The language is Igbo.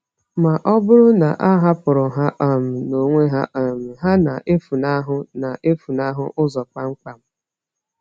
Ma ọ bụrụ na a hapụrụ ha um n’onwe ha, um ha na-efunahụ na-efunahụ ụzọ kpamkpam.